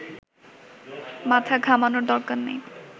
মাথা ঘামানোর দরকার নেই